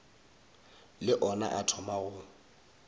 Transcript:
le ona a thoma go